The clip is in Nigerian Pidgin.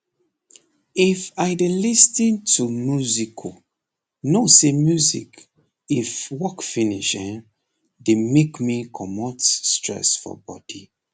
if i dey lis ten to musicu know say music if work finish hen dey make me comot stress for body